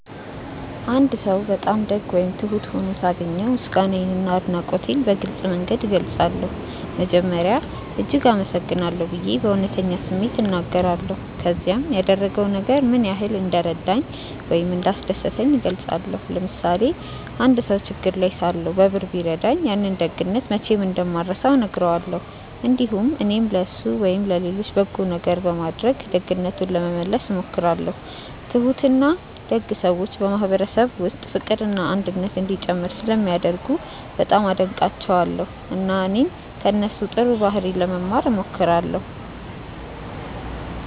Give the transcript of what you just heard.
አንድ ሰው በጣም ደግ ወይም ትሁት ሆኖ ሳገኘው ምስጋናዬንና አድናቆቴን በግልጽ መንገድ እገልጻለሁ። መጀመሪያ “እጅግ አመሰግናለሁ” ብዬ በእውነተኛ ስሜት እናገራለሁ፣ ከዚያም ያደረገው ነገር ምን ያህል እንደረዳኝ ወይም እንዳስደሰተኝ እገልጻለሁ። ለምሳሌ አንድ ሰው ችግር ላይ ሳለሁ በብር ቢረዳኝ፣ ያንን ደግነት መቼም እንደማልረሳው እነግረዋለሁ። እንዲሁም እኔም ለእሱ ወይም ለሌሎች በጎ ነገር በማድረግ ደግነቱን ለመመለስ እሞክራለሁ። ትሁትና ደግ ሰዎች በማህበረሰብ ውስጥ ፍቅርና አንድነት እንዲጨምር ስለሚያደርጉ በጣም አደንቃቸዋለሁ፣ እና እኔም ከእነሱ ጥሩ ባህሪ ለመማር እሞክራለሁ።